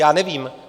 Já nevím.